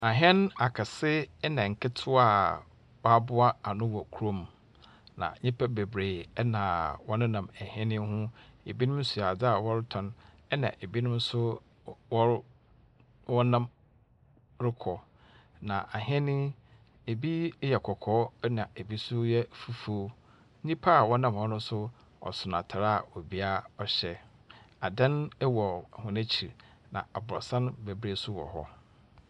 Ahyɛn akɛse na nketewa a wɔaboa ano wɔ kurom, na nyimpa beberee na wɔnenam hyɛn yi ho. Binom so adze a wɔretɔn, na binom nso wɔro wɔnam rokɔ. Na ahyɛn yi, bi yɛ kɔkɔɔ na bi nso yɛ fufuo. Nyimpa a wɔnam hɔ no nso ɔson atar a obiara hyɛ. Ada wɔ hɔn ekyir, na aborsan bebree nso wɔ hɔ.